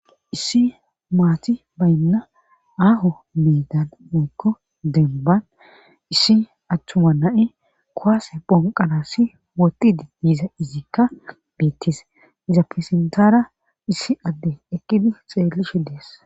Issi maati baynna aaho meedan mekko denban issi attuma na7e kowaase phonqanasi woti di diza izikka beettis iza pesintara issi adde ekkidi xeellishe dees.